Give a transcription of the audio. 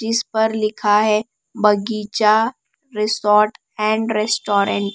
जिस पर लिखा है बगीचा रिसोर्ट एंड रेस्टोरेंट ।